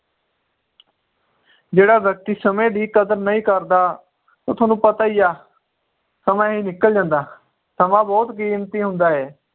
ਜਿਹੜਾ ਵ੍ਯਕ੍ਤਿ ਸਮੇ ਦੀ ਕਦਰ ਨਹੀਂ ਕਰਦਾ ਉਹ ਥੋਨੂੰ ਪਤਾ ਈ ਆ ਸਮਾਂ ਹੀ ਨਿੱਕਲ ਜਾਂਦਾ ਸਮਾਂ ਬਹੁਤ ਕੀਮਤੀ ਹੁੰਦਾ ਏ